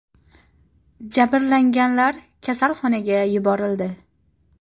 Jabrlanganlar kasalxonaga yuborildi.